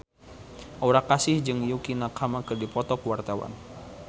Aura Kasih jeung Yukie Nakama keur dipoto ku wartawan